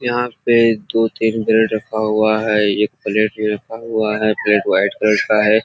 यहाँ पे दो-तीन ब्रेड रखा हुआ है एक प्लेट मे रखा हुआ है। प्लेट व्हाइट कलर का है।